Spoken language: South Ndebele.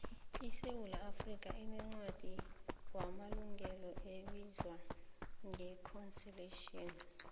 isewula afrikha inencwadi wamalungelo ebizwa ngeconsitution